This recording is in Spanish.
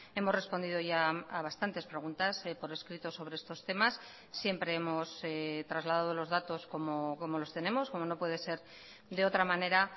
hemos respondido ya a bastantes preguntas por escrito sobre estos temas siempre hemos trasladado los datos como los tenemos como no puede ser de otra manera